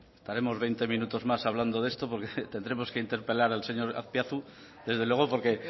estaremos veinte minutos más hablando de esto porque tendremos que interpelar al señor azpiazu desde luego porque